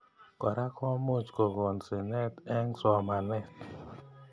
Kora komuch kokon sinet eng somanet.